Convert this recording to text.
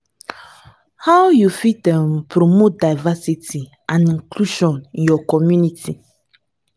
how you fit um promote diversity and inclusion in your community?